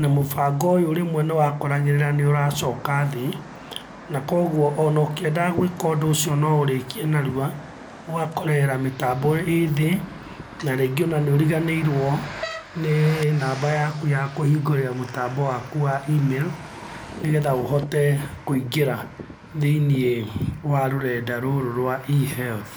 na mũbango ũyũ rĩmwe nĩwakoragĩrĩra nĩũracoka thĩ, na kogwo ono ũkĩendaga gwĩka ũndũ ũcio na ũũrĩkie narua, ũgakorera mĩtambo ĩ thĩ na rĩngĩ nĩũriganĩirwo nĩ namba yaku ya kũhingũrĩra mũtambo waku wa emirũ, nĩgetha ũhote kũingĩra thĩiniĩ wa rũrenda rũrũ rwa eHealth.